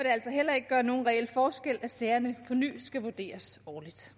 altså heller ikke gøre nogen reel forskel at sagerne på ny skal vurderes årligt